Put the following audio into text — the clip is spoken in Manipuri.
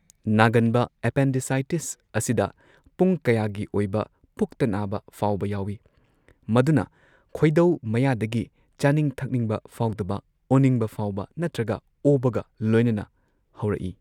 ꯅꯥꯒꯟꯕ ꯑꯦꯄꯦꯟꯗꯤꯁꯥꯏꯇꯤꯁ ꯑꯁꯤꯗ ꯄꯨꯡ ꯀꯌꯥꯒꯤ ꯑꯣꯢꯕ ꯄꯨꯛꯇ ꯅꯥꯕ ꯐꯥꯎꯕ ꯌꯥꯎꯋꯤ꯫ ꯃꯗꯨꯅ ꯈꯣꯢꯗꯧ ꯃꯌꯥꯗꯒꯤ ꯆꯥꯅꯤꯡ ꯊꯛꯅꯤꯡꯕ ꯐꯥꯎꯗꯕ, ꯑꯣꯅꯤꯡꯕ ꯐꯥꯎꯕ ꯅꯠꯇ꯭ꯔꯒ ꯑꯣꯕꯒ ꯂꯣꯏꯅꯅ ꯍꯧꯔꯛꯏ꯫